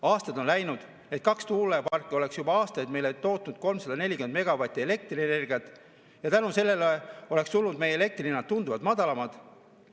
Aastad on läinud, need kaks tuuleparki oleks juba aastaid meile tootnud 340 megavatti elektrienergiat ja tänu sellele oleks meie elekter tunduvalt odavam olnud.